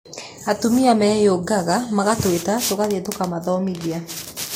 Atumia meyũngaga magatwita, tũgathiĩ tũkamathomithia.